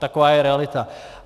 Taková je realita.